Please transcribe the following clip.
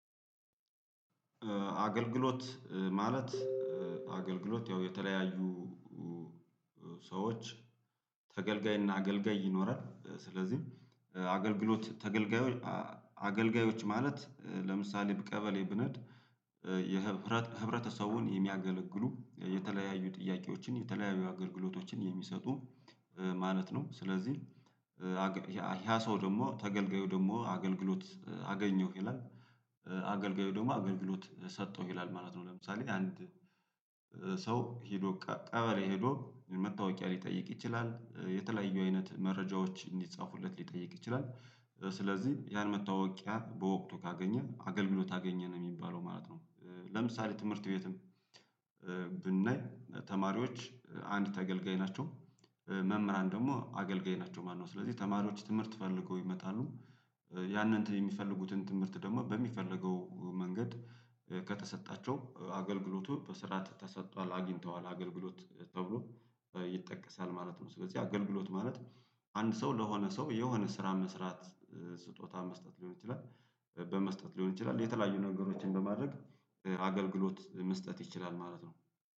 አገልግሎት ማለት አገልግሎት ያው የተለያዩ ሰዎች ተገልጋይና አገልጋይ ይኖራል ስለዚህ አገልግሎት ተገልጋዮች አገልጋዮች ማለት ለምሳሌ ቀበሌ ብንሄድ የህብረተ ህብረተሰቡን የሚያገለግሉ የተለያዩ ጥያቄዎችን የተለያዩ አገልግሎቶችን የሚሰጡ ማለት ነው ስለዚህ ያ ሰው ደግሞ ተገልጋዩ ደግሞ አገልግሎት አገኘሁ ይላል አገልጋዩ ደግሞ አገልግሎት ሰጣሁ ይላል ማለት ነው ለምሳሌ አንድ ሰው ሄዶ ቀበሌ ሄዶ መታወቂያ ሊጠይቅ ይችላል የተለያዩ አይነት መረጃዎች እንዲጻፉለት ሊጠይቅ ይችላል ስለዚህ ያን መታወቂያ በወቅቱ ካገኘ አገልግሎት አገኘ ነው የሚባለው ማለት ነው። ለምሳሌ ትምህርት ቤትም ብናይ ተማሪዎች አንድ ተገልጋይ ናቸው መምህራን ደግሞ አገልጋይ ናቸው ማለት ነው ስለዚህ ተማሪዎች ትምህርት ፈልገው ይመጣሉደ፤ ያንን የሚፈልጉትን ትምህርት ደግሞ በሚፈለገው መንገድ ከተሰጣቸው አገልግሎቱ በስርዓት ተሰጥቷል አግኝተዋል አገልግሎት ተብሎ ይጠቀሳል ማለት ነው ስለዚህ አገልግሎት ማለት አንድ ሰው ለሆነ ሰው የሆነ ስራ መስራት ስጦታ መስጠት ሊሆን ይችላል በመስጠት ሊሆን ይችላል የተለያዩ ነገሮችን በማድረግ አገልግሎት መስጠት ይችላል ማለት ነው።